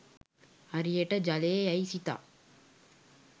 හරියට ජලය යැයි සිතා